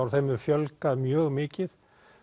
og þeim hefur fjölgað mjög mikið